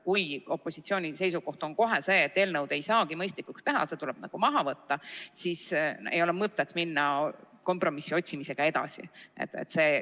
Kui opositsiooni seisukoht on see, et eelnõu ei saagi mõistlikuks teha, see tuleb menetlusest maha võtta, siis ei ole mõtet kompromissi otsimisega edasi minna.